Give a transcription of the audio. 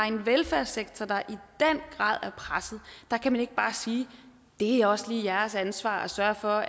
en velfærdssektor der i den grad er presset kan man ikke bare sige det er også jeres ansvar at sørge for